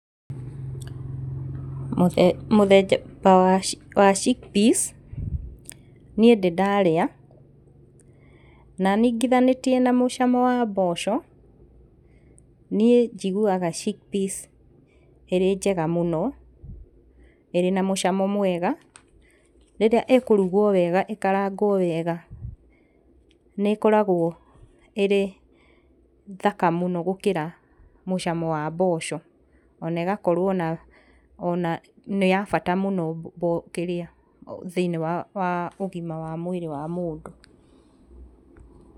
Mũthemba wa wa chickpeas niĩ ndĩ ndarĩa, na ningithanĩtie na mũcamo wa mboco niĩ njiguaga chickpeas ĩrĩ njega mũno, ĩrĩ na mũcamo mwega. Rĩrĩa Íĩkũrugwo wega ĩkarangwo wega nĩĩkoragwo ĩrĩ thaka mũno gũkĩra mũcamo wa mboco, ona ĩgakorwo ona ona nĩ ya bata mũno thĩiniĩ wa ũgima wa mwĩrĩ wa mũndũ.